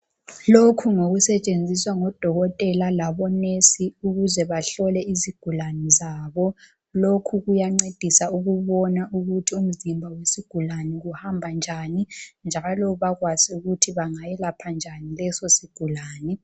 Lokhu ngokusetshenziswa ngabodokotela labonesi Ukuze bahlolwe izigulane zabo lokhu kuya ncedisa ukubona ukuthi umzimba wesigulane kuhamba njani njalo bakwazi ukuthi bangayelapha njani leso sigulani